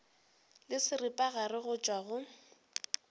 le seripagare go tšwa go